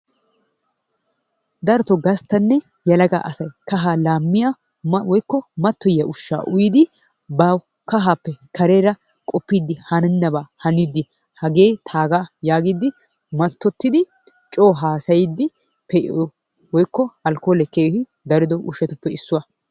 Darotoo gastanne yelaga asati kahaa laamiya dumma woykko matoyyiyaa ushaa uyidi ba kahaappe kareera qoppidi hanennabaa haniidi hagee taagaa yaagiidi matottidi coo haasayiidi pee'iyo woykko alkoolee keehi darido ushatuppe issuwa.